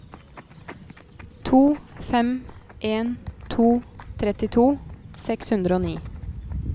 to fem en to trettito seks hundre og ni